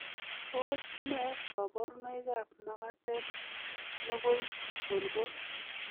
Tos nee koborunoikab makatet nekoibolbol?